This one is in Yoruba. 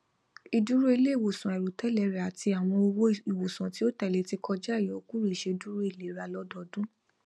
ìdúró iléiwòsàn àìròtẹlẹ rẹ àti àwọn owó ìwòsàn tí ó tẹlé ti kọjá ìyọkúrò iṣèdúró ilera lọdọdún